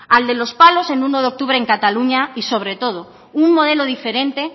al de los palos el uno de octubre en cataluña y sobre todo un modelo diferente